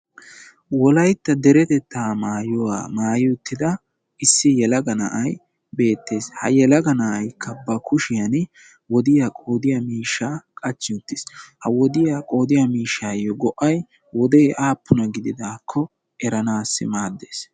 Wolaytta derettetta maayuwaa maayi uttidda issi yellagga na'ay beettes. Ha yellagga na'iyakka ba kushshiyan woddiyaa qoodiya miishsha qachchi uttis, ha woddiyaa qoodiya miishshayo go'ay wodde aappuna gididakko eranayyo maades.